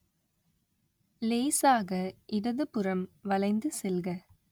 லேசாக இடதுபுறம் வளைந்து செல்க